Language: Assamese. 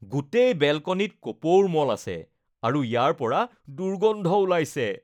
গোটেই বেলকনিত কপৌৰ মল আছে আৰু ইয়াৰ পৰা দুৰ্গন্ধ ওলাইছে